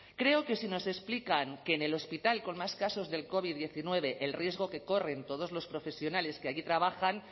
creo que si nos explican que en el hospital con más casos del covid diecinueve el riesgo que corren todos los profesionales que allí trabajan